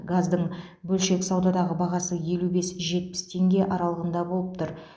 газдың бөлшек саудадағы бағасы елу бес жетпіс теңге аралығында болып тұр